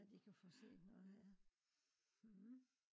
at i kan få set noget ja